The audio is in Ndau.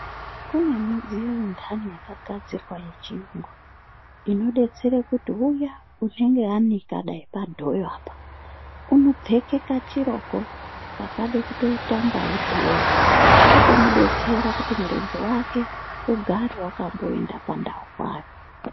Kune mudziyo indani yakagadzirwa yechiyungu. Inobetsere kuti uya unenge anika dai padhoyo apa. Unopfeke kachiroko kakade kutoitangavo dhoyo kotomubetsera kuti murenje vake ugare vakamboenda pandau paya.